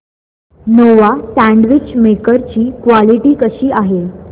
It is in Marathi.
नोवा सँडविच मेकर ची क्वालिटी कशी आहे